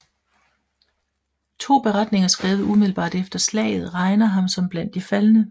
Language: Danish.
To beretninger skrevet umiddelbart efter slaget regner ham som blandt de faldne